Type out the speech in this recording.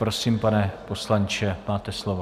Prosím, pane poslanče, máte slovo.